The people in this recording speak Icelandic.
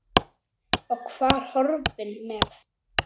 Og var horfinn með.